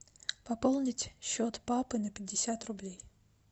пополнить счет папы на пятьдесят рублей